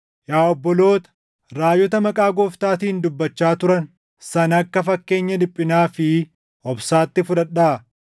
Yaa obboloota, raajota maqaa Gooftaatiin dubbachaa turan sana akka fakkeenya dhiphinaa fi obsaatti fudhadhaa.